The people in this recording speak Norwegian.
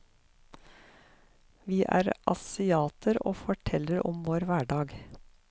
Vi er asiater og forteller om vår hverdag.